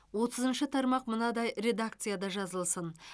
отызыншы тармақ мынадай редакцияда жазылсын